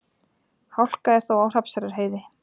Hálka er þó á Hrafnseyrarheiði